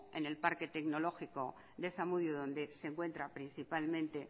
en el parque tecnológico de zamudio donde se encuentra principalmente